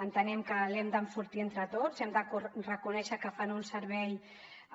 entenem que l’hem d’enfortir entre tots hem de reconèixer que fan un servei